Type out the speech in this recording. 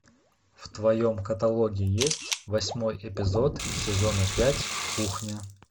в твоем каталоге есть восьмой эпизод сезона пять кухня